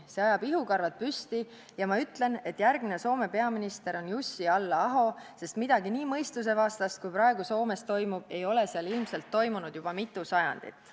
See ajab ihukarvad püsti ja ma ütlen, et järgmine Soome peaminister on Jussi Halla-aho, sest midagi nii mõistusevastast, kui praegu Soomes toimub, ei ole seal ilmselt toimunud juba mitu sajandit.